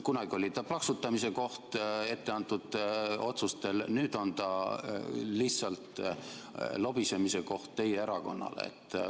Kunagi oli ta plaksutamise koht etteantud otsuste peale, nüüd on ta lihtsalt lobisemise koht teie erakonnale.